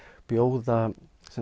bjóða